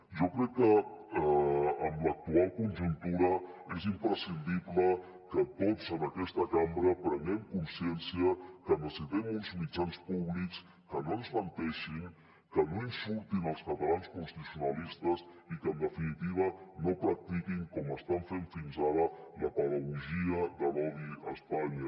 jo crec que en l’actual conjuntura és imprescindible que tots en aquesta cambra prenguem consciència que necessitem uns mitjans públics que no ens menteixin que no insultin els catalans constitucionalistes i que en definitiva no practiquin com estan fent fins ara la pedagogia de l’odi a espanya